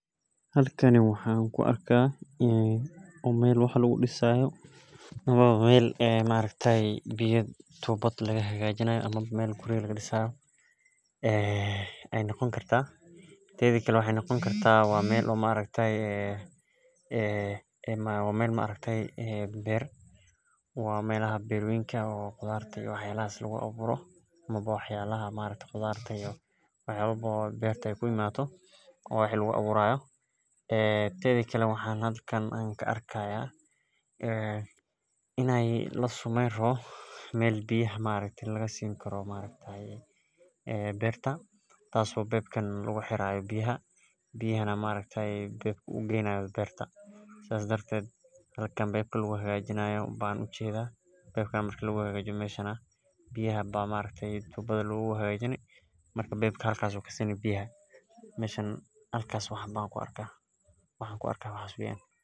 Halkani waxan ku arka meel wax lagu disaya amawa meel biya tubaad lagu sameyo ama wa maxee noqoni kartaa meelaha beerta lagu aburo berta lageynayo beerta biya aya tubaada agu hagajini marka biyaha xagas ayu kasini marka waxan an ku arko waxaa weyan.